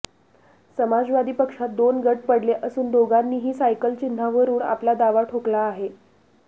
समाजवादी पक्षात दोन गट पडले असून दोघांनीही सायकल चिन्हावरून आपला दावा ठोकला आहे